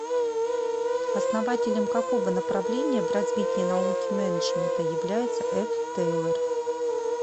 основателем какого направления в развитии науки менеджмента является ф тейлор